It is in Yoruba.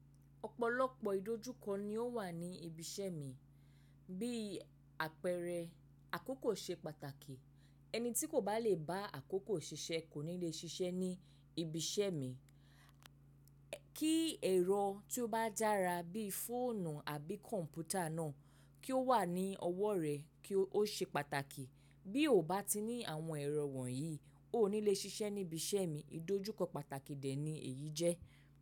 Ọ̀pọ̀lọpọ̀ ìdojúkọ ni ó wà ní ibi iṣẹ́ mi. Bí àpẹẹrẹ àkókò ṣe pàtàkì. Ẹni tí kò bá lè bá àkókò ṣiṣẹ́ kò ní le ṣiṣẹ́ ní ibi iṣẹ́ mi. Kí ẹ̀rọ tí ó bá dára bí fóònù àbí kọ̀m̀pútà náà kí ó wà ní ọwọ́ rẹ kí ó ṣe pàtàkì. Bi o ba ti ni àwọn ero wonyii, oo ni le ṣiṣẹ́ nibi iṣẹ́ mi ìdojúkọ pàtàkì de ni èyí je.